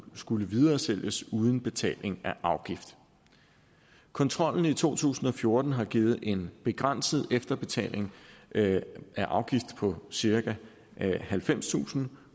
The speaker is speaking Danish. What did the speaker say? skulle videresælges uden betaling af afgift kontrollen i to tusind og fjorten har givet en begrænset efterbetaling af afgift på cirka halvfemstusind